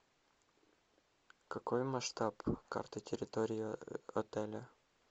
какой масштаб карты территории отеля